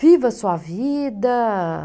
Viva sua vida.